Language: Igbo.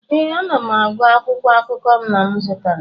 ee, m na-agụ akwụkwọ akụkọ nna m zụtara